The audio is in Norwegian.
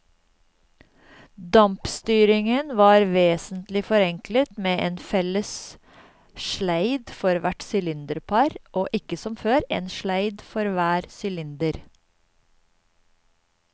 Dampstyringen var vesentlig forenklet med en felles sleid for hvert sylinderpar og ikke som før, en sleid for hver sylinder.